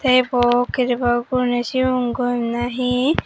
te ibo keri begot gurinei sigun goem na hi.